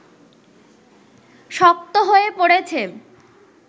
শক্ত হয়ে পড়েছে